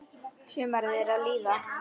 Sumarið er að líða.